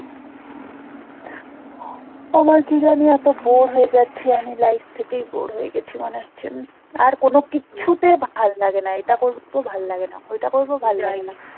আমার কি জানি এতো bore হয়ে যাচ্ছি আমি life থেকেই bore হয়ে গেছি মনে হচ্ছে উম আর কোনো ভাল লাগে না এটা ভাল লাগে না ওইটা করবো